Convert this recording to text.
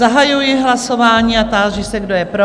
Zahajuji hlasování a táži se, kdo je pro?